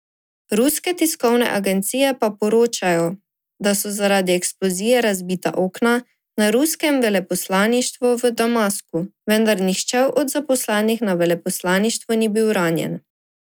Ruske tiskovne agencije pa poročajo, da so zaradi eksplozije razbita okna na ruskem veleposlaništvu v Damasku, vendar nihče od zaposlenih na veleposlaništvu ni bil ranjen.